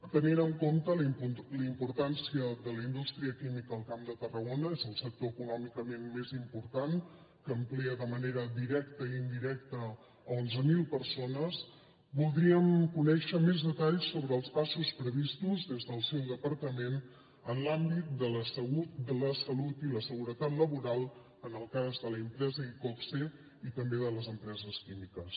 tenint en compte la importància de la indústria química al camp de tarragona és el sector econòmicament més important que ocupa de manera directa i indirecta onze mil persones voldríem conèixer més detalls sobre els passos previstos des del seu departament en l’àmbit de la salut i la seguretat laboral en el cas de l’empresa iqoxe i també de les empreses químiques